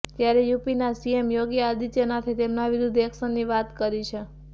ત્યારે યુપીના સીએમ યોગી આદિત્યનાથે તેમના વિરૂદ્ધ એકશનની વાત કરી છે